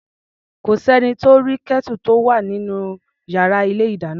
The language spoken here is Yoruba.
Kò s’ẹ́ni tó rí Kẹ́tù tó wà nínú yàrá ilé-ìdáná.